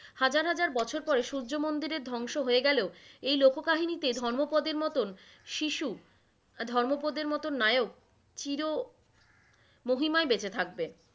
হাজার হাজার বছর পরে সূর্যমন্দিরের ধংস হয়ে গেলেও, এই লোককহিনীতে ধর্মোপদের মতন শিশু, ধর্মোপদের মতন নায়ক, চির মহিমায় বেঁচে থাকবে,